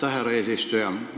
Aitäh, härra eesistuja!